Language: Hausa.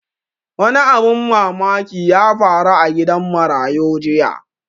Wani abun mamaki ya faru a gidan marayu jiya